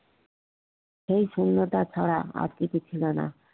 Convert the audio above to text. এই শূন্যতা ছাড়া আর কিছু ছিল না